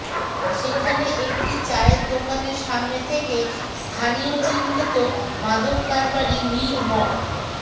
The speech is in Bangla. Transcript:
সেখানে একটি চায়ের দোকানের সামনে থেকে স্থানীয় চিহ্নিত মাদক কারবারি মীর মো